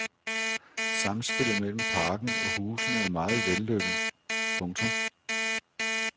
Samspillet mellen parken og husene er meget vellykket. punktum